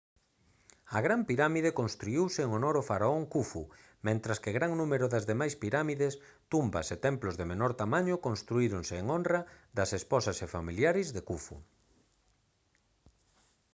a gran pirámide construíuse en honor ao faraón khufu mentres que gran número das demais pirámides tumbas e templos de menor tamaño construíronse en honra das esposas e familiares de khufu